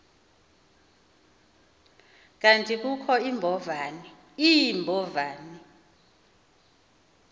kanti kukho iimbovane